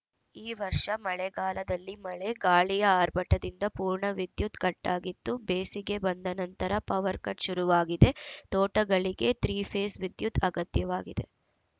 ಈ ವರ್ಷ ಮಳೆಗಾಲದಲ್ಲಿ ಮಳೆ ಗಾಳಿಯ ಆರ್ಭಟದಿಂದ ಪೂರ್ಣ ವಿದ್ಯುತ್‌ ಕಟ್ಟಾಗಿತ್ತು ಬೇಸಿಗೆ ಬಂದ ನಂತರ ಪವರ್‌ ಕಟ್‌ ಶುರುವಾಗಿದೆ ತೋಟಗಳಿಗೆ ತ್ರಿ ಫೇಸ್‌ ವಿದ್ಯುತ್‌ ಅಗತ್ಯವಾಗಿದೆ